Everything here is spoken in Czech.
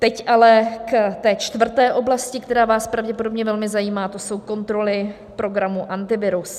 Teď ale ke čtvrté oblasti, která vás pravděpodobně velmi zajímá, a to jsou kontroly programu Antivirus.